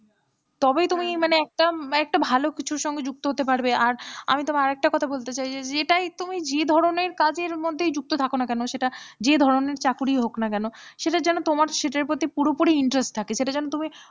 তবেই তুমি মানে একটা একটা ভালো কিছু সঙ্গে যুক্ত হতে পারবে আর আমি তোমায় আর একটা কথা বলতে চাই যেটা তুমি যে ধরনের কাজের মধ্যে যুক্ত থাকো না কেন সেটা যে ধরনের চাকরি হয় না কেন সেটা যেন তোমার সেটার প্রতি পুরোপুরি interest থাকে সেটা যেন তুমি,